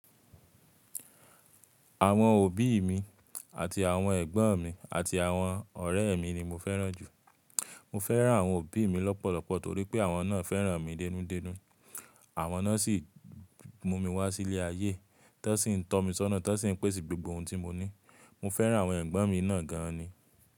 Àwọn òbí mi àti àwọn ẹ̀gbọ́n mi àti àwọn ọ̀rẹ́ mi ni mo fẹ́ràn jù. Mo fẹ́ràn àwọn òbí mi lọ́pọ̀lọpọ̀ torí pé àwọn náà fẹ́ràn mi dénú dénú, àwọn náà sì mú mi wá sí ilé ayé, tan sí ń tọ́ mi sọ́nà, tan sí ń pèsè gbogbo ohun tí mo ní. Mo fẹ́ràn àwọn ẹ̀gbọ́n mi náà gan ni.